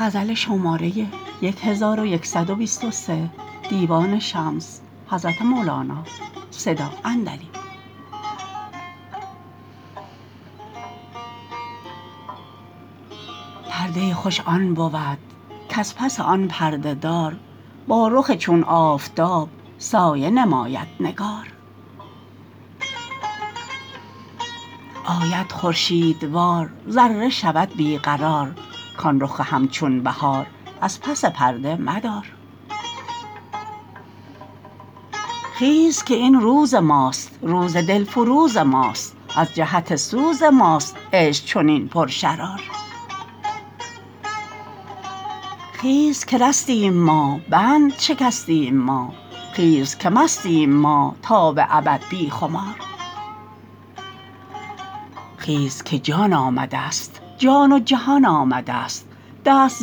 پرده خوش آن بود کز پس آن پرده دار با رخ چون آفتاب سایه نماید نگار آید خورشیدوار ذره شود بی قرار کان رخ همچون بهار از پس پرده مدار خیز که این روز ماست روز دلفروز ماست از جهت سوز ماست عشق چنین پرشرار خیز که رستیم ما بند شکستیم ما خیز که مستیم ما تا به ابد بی خمار خیز که جان آمدست جان و جهان آمده است دست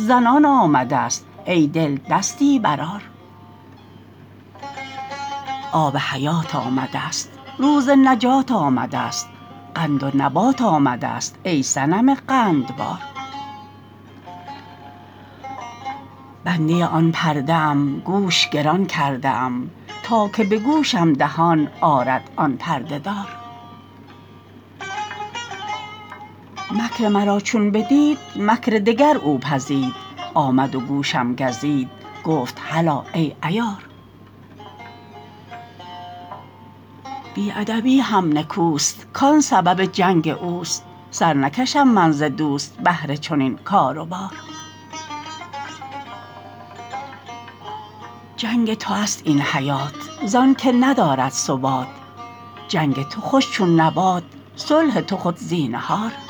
زنان آمدست ای دل دستی برآر آب حیات آمدست روز نجات آمدست قند و نبات آمدست ای صنم قندبار بنده آن پرده ام گوش گران کرده ام تا که به گوشم دهان آرد آن پرده دار مکر مرا چون بدید مکر دگر او پزید آمد و گوشم گزید گفت هلا ای عیار بی ادبی هم نکوست کان سبب جنگ اوست سر نکشم من ز دوست بهر چنین کار و بار جنگ تو است این حیات زانک ندارد ثبات جنگ تو خوش چون نبات صلح تو خود زینهار